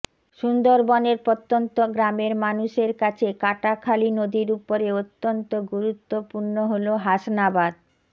সুন্দরবনের প্রত্যন্ত গ্রামের মানুষের কাছে কাটাখালি নদীর উপরে অত্যন্ত গুরুত্বপূর্ণ হল হাসনাবাদ